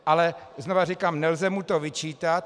Ale znovu říkám: Nelze mu to vyčítat.